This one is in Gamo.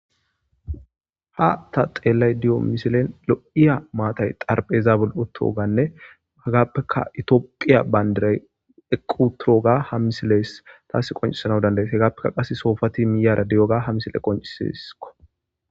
Ha ta xeellay diyo misilen lo7iya maatay xarpheezaabul7otoganne hagaappeka itooqiya bayndiray equ turoga hamisiles taas qonciessana dandaet hagaappeka qase soofati miyara di7oga hamisile qoncisesko.